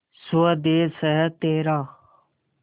स्वदेस है तेरा